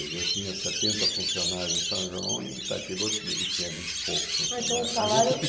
Quer dizer, eu tinha sete funcionários em São João e em Itatiba eu tinha vinte e poucos funcionários. Esse que... Ah, então o salário